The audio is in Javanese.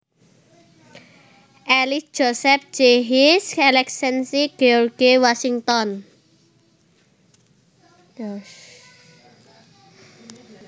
Ellis Joseph J His Excellency George Washington